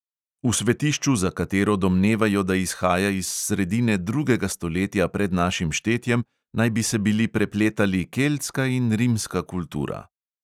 V svetišču, za katero domnevajo, da izhaja iz sredine drugega stoletja pred našim štetjem, naj bi se bili prepletali keltska in rimska kultura.